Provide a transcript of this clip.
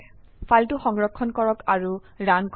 ফাইলটো সংৰক্ষণ কৰক আৰু ৰান কৰক